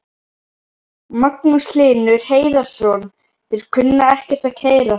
Magnús Hlynur Hreiðarsson: Þeir kunna ekkert að keyra?